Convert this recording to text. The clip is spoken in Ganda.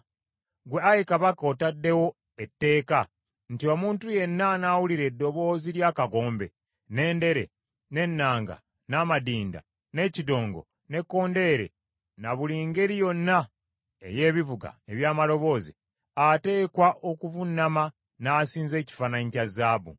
Ggwe ayi kabaka otaddewo etteeka, nti omuntu yenna anaawulira eddoboozi ly’akagombe, n’endere, n’ennanga, n’amadinda, n’ekidongo, n’ekkondeere na buli ngeri yonna ey’ebivuga eby’amaloboozi, ateekwa okuvuunama n’asinza ekifaananyi kya zaabu,